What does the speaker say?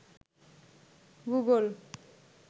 Google